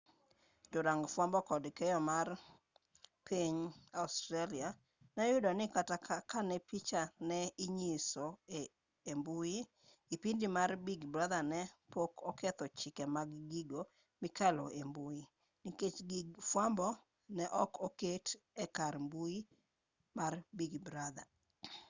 jorang fwambo kod keyo mar piny australia ne oyudo ni kata kane picha ne inyiso e mbui kipindi mar big brother ne pok oketho chike mag gigo mikalo embui nikech gig fwambo ne ok oket e kar mbui mar big brother